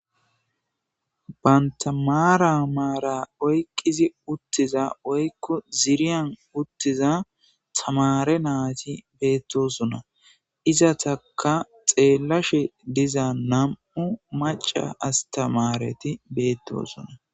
Bantta maara maara oyqiza uttiza woykko ziriyan uttiza tamaare naytti bettossonna izattakka xellashe diza nam'u maca astamaarettikka bettossonna